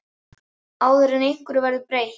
Áður en einhverju verður breytt?